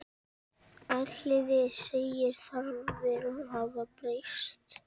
Elliði segir þarfir hafa breyst.